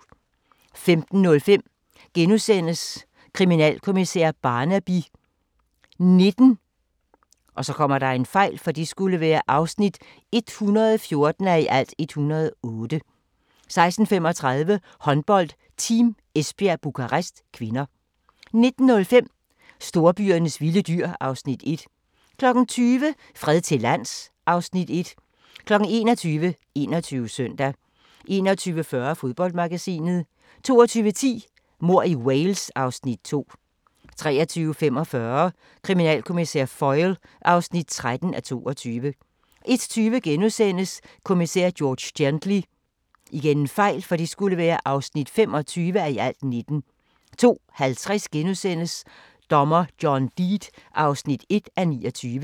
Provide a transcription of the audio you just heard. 15:05: Kriminalkommissær Barnaby XIX (114:108)* 16:35: Håndbold: Team Esbjerg-Bukarest (k) 19:05: Storbyernes vilde dyr (Afs. 1) 20:00: Fred til lands (Afs. 1) 21:00: 21 Søndag 21:40: Fodboldmagasinet 22:10: Mord i Wales (Afs. 2) 23:45: Kriminalkommissær Foyle (13:22) 01:20: Kommissær George Gently (25:19)* 02:50: Dommer John Deed (1:29)*